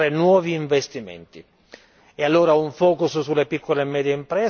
E allora, un focus sulle piccole e medie imprese e trasparenza nelle procedure.